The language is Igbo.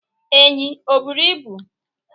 Enyí e bụrụ ịbụ?